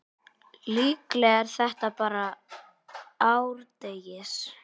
Líklega er þetta bara árdegis